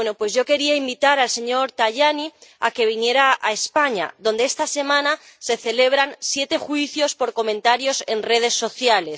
Yo quisiera invitar al señor Tajani a que viniera a España, donde esta semana se celebran siete juicios por comentarios en redes sociales.